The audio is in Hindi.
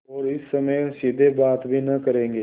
और इस समय सीधे बात भी न करेंगे